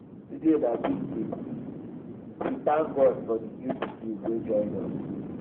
today na big day we dey thank god for the new pikin wey join us.